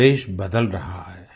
अब देश बदल रहा है